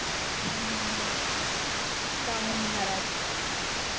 हम्म हम्म शाहू महाराज